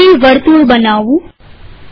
હું ફરી વર્તુળ બનાવું